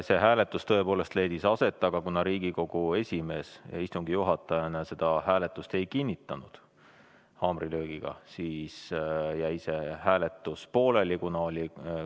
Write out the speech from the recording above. See hääletus tõepoolest leidis aset, aga kuna Riigikogu esimees istungi juhatajana seda hääletust haamrilöögiga ei kinnitanud, siis jäi see hääletus pooleli.